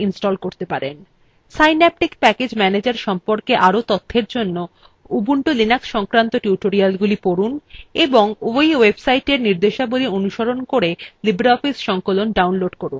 synaptic package manager সম্পর্কে আরও তথ্যের জন্য ubuntu linux সংক্রান্ত টিউটোরিয়ালগুলি পড়ুন এবং এই website নির্দেশাবলী অনুসরণ করে libreoffice সংকলন download করুন